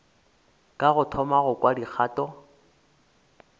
ka thoma go kwa dikgato